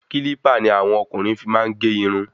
Kílípà ni àwọn ọkùnrin fí máa n ge irun